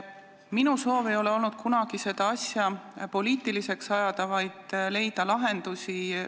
Minu soov ei ole kunagi olnud seda asja poliitiliseks ajada, olen soovinud leida lahendusi.